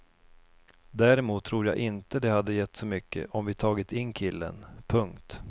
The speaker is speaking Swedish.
Däremot tror jag inte det hade gett så mycket om vi tagit in killen. punkt